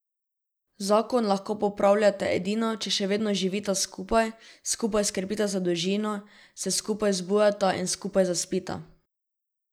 Zakon lahko popravljate edino, če še vedno živita skupaj, skupaj skrbita za družino, se skupaj zbujata in skupaj zaspita.